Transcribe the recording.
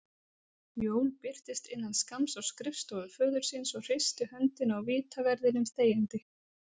Jón birtist innan skamms á skrifstofu föður síns og hristi höndina á vitaverðinum þegjandi.